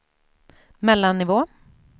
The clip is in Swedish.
mellannivå